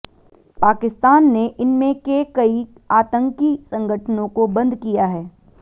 पाकिस्तान ने इनमें के कई आतंकी संगठनों को बंद किया है